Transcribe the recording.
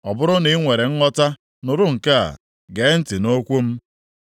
“Ọ bụrụ na i nwere nghọta, nụrụ nke a; gee ntị nʼokwu m.